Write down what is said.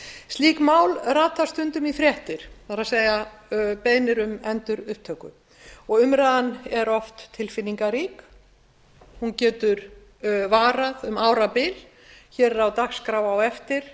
slík mál rata stundum í fréttir það er beiðnir um endurupptöku og umræðan er oft tilfinningarík hún getur varað um árabil í fimmta máli á